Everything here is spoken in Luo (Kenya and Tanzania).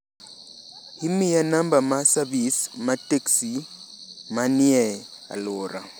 imiya namba ma savis ma teksi ma ni e alwora